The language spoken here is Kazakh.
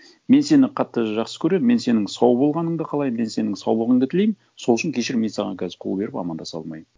мен сені қатты жақсы көремін мен сенің сау болғаныңды қалаймын мен сенің саулығыңды тілеймін сол үшін кешір мен саған қазір қол беріп амандаса алмаймын